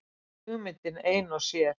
Hugmyndin ein og sér.